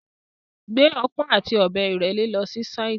Gbé ọpọ́n àti ọ̀bẹ ìrẹ́le lọ si sáìtì.